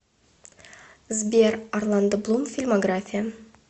сбер орландо блум фильмография